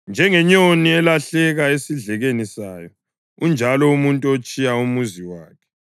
Njengenyoni elahleka esidlekeni sayo, unjalo umuntu otshiya umuzi wakhe.